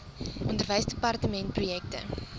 onderwysdepartementprojekte